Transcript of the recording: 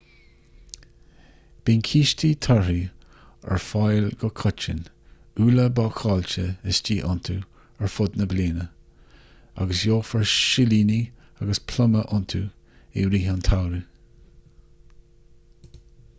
bíonn cístí torthaí ar fáil go coitinn úlla bácáilte istigh iontu ar fud na bliana agus gheofar silíní agus pluma iontu i rith an tsamhraidh